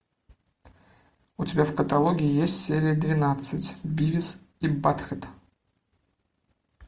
у тебя в каталоге есть серия двенадцать бивис и батхед